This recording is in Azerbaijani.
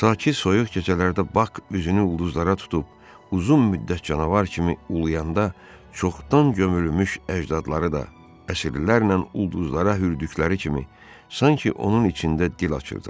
Sakit soyuq gecələrdə Bak üzünü ulduzlara tutub uzun müddət canavar kimi uluyanda çoxdan gömülmüş əcdadları da əsrlərlə ulduzlara hürdükleri kimi sanki onun içində dil açırdılar.